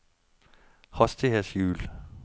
hastighetshjul